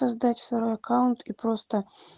создать второй аккаунт и просто